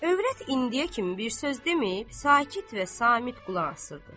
Övrət indiyə kimi bir söz deməyib, sakit və samit qulaq asırdı.